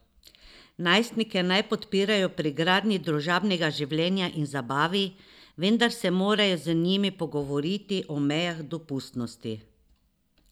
Najstnike naj podpirajo pri gradnji družabnega življenja in zabavi, vendar se morajo z njimi pogovoriti o mejah dopustnosti.